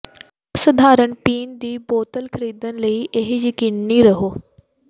ਅਸਾਧਾਰਨ ਪੀਣ ਦੀ ਬੋਤਲ ਖਰੀਦਣ ਲਈ ਇਹ ਯਕੀਨੀ ਰਹੋ